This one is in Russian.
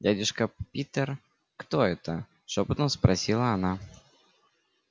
дядюшка питер кто это шёпотом спросила она